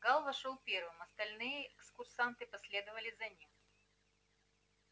гаал вошёл первым остальные экскурсанты последовали за ним